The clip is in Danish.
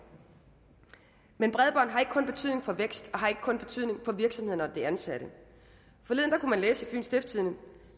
men bredbånd har ikke kun betydning for vækst og har ikke kun betydning for virksomhederne og de ansatte forleden kunne man læse i fyens stiftstidende